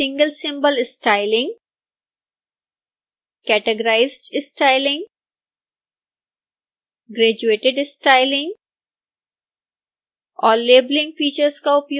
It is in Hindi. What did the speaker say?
single symbol styling categorized styling graduated styling और